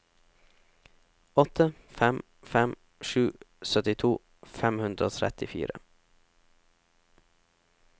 åtte fem fem sju syttito fem hundre og trettifire